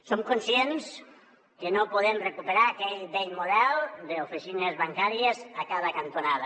som conscients que no podem recuperar aquell vell model d’oficines bancàries a cada cantonada